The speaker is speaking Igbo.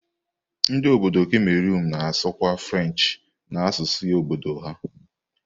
Ndi obodo Cameroon na-asụkwa French na asụsụ obodo ha.